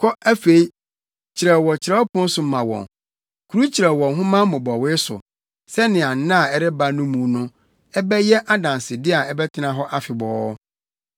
Kɔ afei, kyerɛw wɔ kyerɛwpon so ma wɔn, kurukyerɛw wɔ nhoma mmobɔwee so sɛnea nna a ɛreba no mu no ɛbɛyɛ adansede a ɛbɛtena hɔ afebɔɔ.